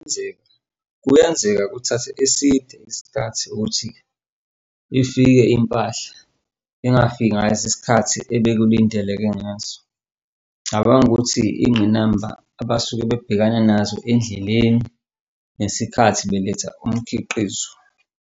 Enzeka, kuyenzeka kuthathe eside isikhathi ukuthi ifike impahla ingafika ngalesi sikhathi ebekulindeleke ngaso. Cabanga ukuthi ingqinamba abasuke bebhekane nazo endleleni ngesikhathi beletha umkhiqizo.